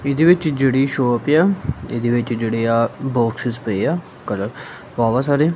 ਇਹਦੇ ਵਿੱਚ ਜਿਹੜੀ ਸ਼ੌਪ ਆ ਇਹਦੇ ਵਿੱਚ ਜਿਹੜੇ ਆਹ ਬੋਕਸਸ ਪਏ ਆ ਕਲਰ ਵਾਹ ਵਾਹ ਸਾਰੇ।